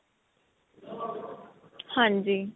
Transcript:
ਹਾਂਜੀ